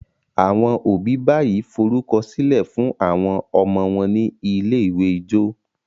àwọn òbí bayii forukọsilẹ fún àwọn ọmọ wón ní ilé-ìwé ijó